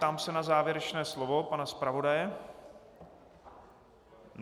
Ptám se na závěrečné slovo pana zpravodaje.